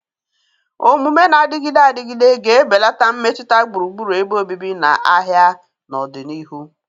Omume na-adịgide adịgide ga-ebelata mmetụta gburugburu ebe obibi na ahịa n'ọdịnihu.